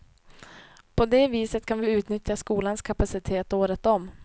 På det viset kan vi utnyttja skolans kapacitet året om.